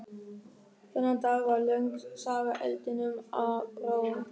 Þennan dag varð löng saga eldinum að bráð.